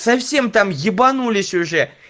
совсем там ебанулись уже